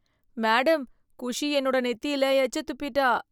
Madam! Khushi என்னோட நெத்தியில எச்ச துப்பிட்டா.